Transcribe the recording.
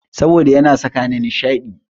Saboda yana sakani nishaɗi.